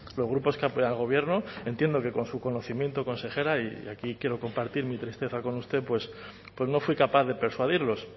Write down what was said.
los grupos que apoyan al gobierno entiendo que con su conocimiento consejera y aquí quiero compartir mi tristeza con usted no fui capaz de persuadirlos